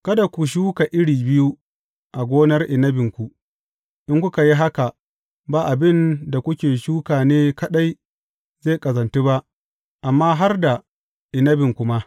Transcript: Kada ku shuka iri biyu a gonar inabinku; in kuka yi haka, ba abin da kuka shuka ne kaɗai zai ƙazantu ba, amma har da inabinku ma.